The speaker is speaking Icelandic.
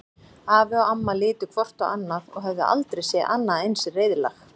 Afi og amma litu hvort á annað og höfðu aldrei séð annað eins reiðlag.